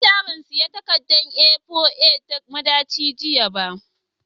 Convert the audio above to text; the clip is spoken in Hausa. Na manta ban siyan takardar A4 a madaci jiya ba.